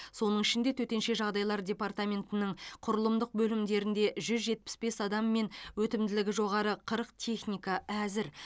соның ішінде төтенше жағдайлар департаментінің құрылымдық бөлімдерінде жүз жетпіс бес адам мен өтімділігі жоғары қырық техника әзір